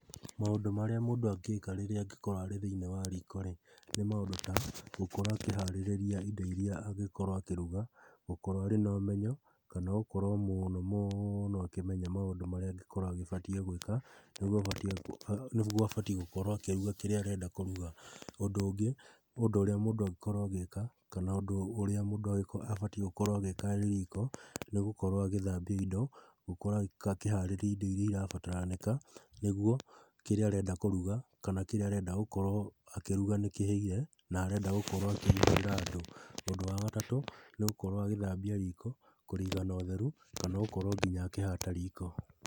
Maũndũ marĩa mũndũ angĩka rĩrĩa angĩkorwo arĩ thĩ-ini wa riko, nĩ maũndũ ta gũkorwo akĩharĩrĩria indo iria angĩkorwo akĩruga, gũkorwo arĩ na ũmenyo, kana gũkorwo mũno mũũno akĩmenya maũndũ marĩa angĩkorwo agĩbatiĩ gwĩka, nĩguo abatiĩ gũĩka nĩguo abatiĩ gũkorwo akĩruga kĩrĩa arenda kũruga. Ũndũ ũngĩ, ũndũ ũrĩa mũndũ angĩkorwo agĩka, kana ũndũ ũrĩa mũndũ angi abatiĩ gũkorwo agĩka arĩ riko nĩ gũkorwo agĩthambia indo, gũkorwo akĩharĩria indo iria irabataranĩka, nĩguo kĩrĩa arenda kũruga, kana kĩrĩa arenda gũkorwo akĩruga nĩkĩhĩire, na arenda gũkorwo akĩrugĩra andũ. Ũndũ wa gatatũ, nĩ gũkorwo agĩthambia riko, kũrĩiga na ũtheru, kana gũkorwo nginya akĩhata riko.